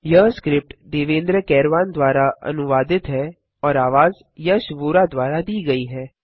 यह स्क्रिप्ट देवेन्द्र कैरवान द्वारा अनुवादित है और आवाज यश वोरा द्वारा दी गई है